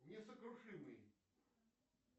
несокрушимый